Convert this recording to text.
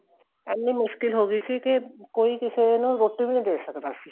ਐਨੀ ਮੁਸ਼ਕਿਲ ਹੋ ਗਈ ਕੇ ਕੋਈ ਕਿਸੇ ਨੂੰ ਰੋਟੀ ਵੀ ਨਹੀਂ ਦੇ ਸਕਦਾ ਸੀ